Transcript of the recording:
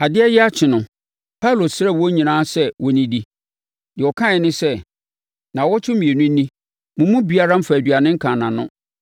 Adeɛ reyɛ akye no, Paulo srɛɛ wɔn nyinaa sɛ wɔnnidi. Deɛ ɔkae ne sɛ, “Nnawɔtwe mmienu ni, mo mu biara mfaa aduane nkaa nʼano.